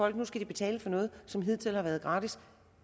at nu skal de betale for noget som hidtil har været gratis